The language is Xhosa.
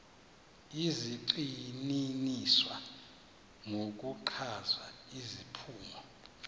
zigxininiswa ngokuchaza iziphumo